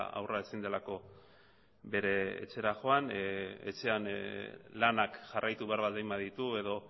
haurra ezin delako bere etxera joan etxean lanak jarraitu behar baldin baditu edo